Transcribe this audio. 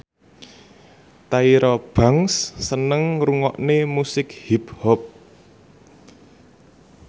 Tyra Banks seneng ngrungokne musik hip hop